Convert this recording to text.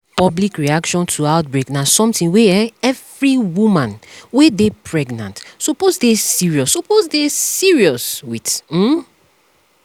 public reaction to outbreak na something wey um every woman wey dey pregnant suppose dey serious suppose dey serious with um